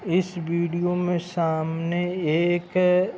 इस वीडियो में सामने एक --